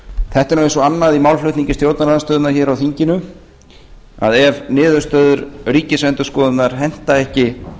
þetta er nú eins og annað í málflutningi stjórnarandstöðunnar hér á þinginu ef niðurstöður ríkisendurskoðunar henta ekki